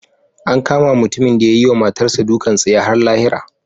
An kama mutumin da ya yi wa matarsa ​​dukan tsiya har lahira.